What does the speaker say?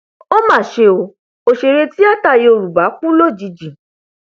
ó mà ṣe o òṣèré tìata yorùbá kú lójijì